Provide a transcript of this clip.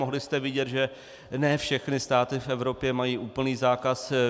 Mohli jste vidět, že ne všechny státy v Evropě mají úplný zákaz.